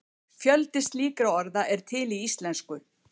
Fjöldi slíkra orða er til í íslensku.